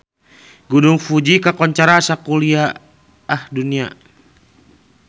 Gunung Fuji kakoncara sakuliah dunya